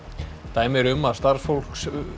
dæmi eru um að starfsfólk